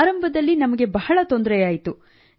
ಆರಂಭದಲ್ಲಿ ನಮಗೆ ಬಹಳ ತೊಂದರೆಯಾಯಿತು